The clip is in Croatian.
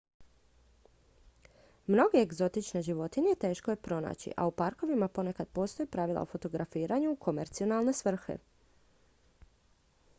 mnoge egzotične životinje teško je pronaći a u parkovima ponekad postoje pravila o fotografiranju u komercijalne svrhe